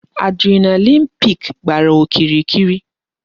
Adrenaline peak gbàrà okirikiri